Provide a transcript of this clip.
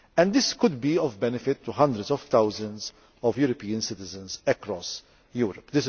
This could be of benefit to hundreds of thousands of European citizens across Europe.